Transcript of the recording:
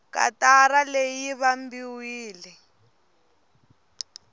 katara leyi yi vambiwile